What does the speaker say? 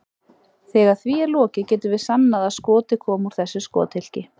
Þegar því er lokið getum við sannað að skotið kom úr þessu skothylki.